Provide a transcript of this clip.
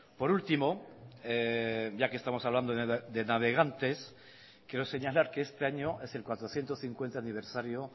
por último ya que estamos hablando de navegantes quiero señalar que este año es el cuatrocientos cincuenta aniversario